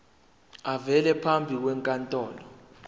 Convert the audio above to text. avele phambi kwenkantolo